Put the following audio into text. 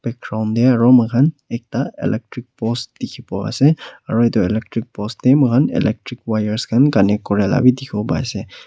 de aro moi khan electric post dikhibo ase aro itu electric post de electric wires khan connect kure la bi dikhi bo ase.